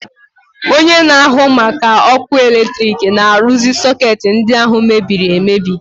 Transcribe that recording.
Onye na-ahụ maka ọkụ eletrik na-arụzi sọketi ndi ahụ mebiri emebi.